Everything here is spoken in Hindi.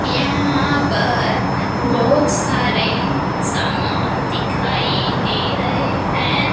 यहां पर बहोत सारे सामान दिखाई दे रहे हैं।